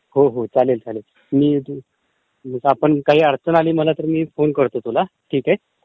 हो हो चालेल चालेल.....मी तिथून काही अडटण आली तर फोन करतो तुला...ठीक आहे!